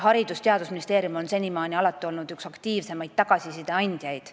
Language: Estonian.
Haridus- ja Teadusministeerium on senimaani olnud üks aktiivsemaid tagasiside andjaid.